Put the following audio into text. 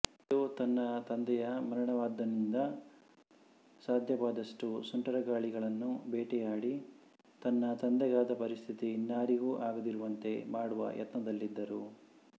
ಜೋ ತನ್ನ ತಂದೆಯ ಮರಣವಾದಂದಿನಿಂದ ಸಾಧ್ಯವಾದಷ್ಟೂ ಸುಂಟರಗಾಳಿಗಳನ್ನು ಬೇಟೆಯಾಡಿ ತನ್ನ ತಂದೆಗಾದ ಪರಿಸ್ಥಿತಿ ಇನ್ನಾರಿಗೂ ಆಗದಿರುವಂತೆ ಮಾಡುವ ಯತ್ನದಲ್ಲಿದ್ದರು